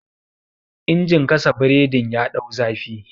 injin gasa boredin ya dau zafi